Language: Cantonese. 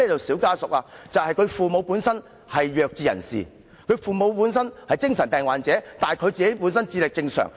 "小家屬"的父母是弱智人士或精神病患者，但孩子智力正常。